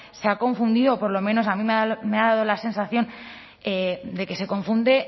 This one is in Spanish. se ha confundido o por lo menos a mí me ha dado la sensación de que se confunde